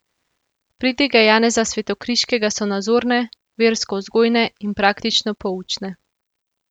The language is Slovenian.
Pridige Janeza Svetokriškega so nazorne, verskovzgojne in praktično poučne.